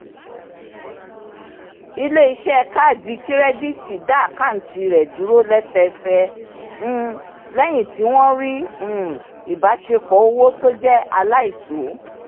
ilé-iṣẹ́ kaadi kirẹditi dá àkántì rẹ dúró lẹ́sẹẹsẹ um lẹ́yìn tí wọ́n rí um ìbáṣepọ̀ owó tó jẹ́ aláìtó